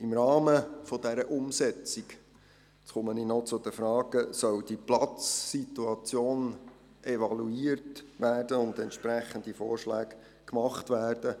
Im Rahmen der Umsetzung – nun komme ich zu den Fragen – soll die Platzsituation evaluiert und entsprechende Vorschläge gemacht werden.